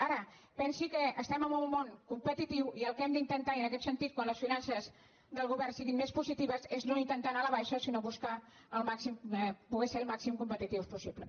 ara pensi que estem en un món competitiu i el que hem d’intentar i en aquest sentit quan les finances del govern siguin més positives és no intentar anar a la baixa sinó bus·car poder ser el màxim competitius possible